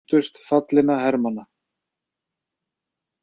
Minntust fallinna hermanna